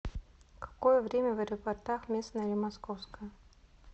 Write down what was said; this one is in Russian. какое время в аэропортах местное или московское